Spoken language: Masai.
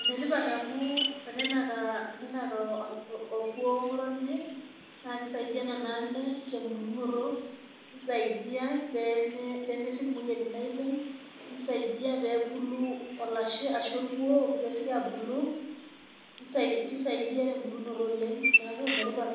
Ene tipat amu tenenak orkuo ng'otonye, naa kisaidia nena ale tembulunoto, neisaidia pee mesioki imuoyiaritin aaibung', pee esioki olashe ashu orkuo abulu. Neeku ene tipat